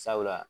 Sabula